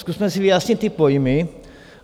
Zkusme si vyjasnit ty pojmy.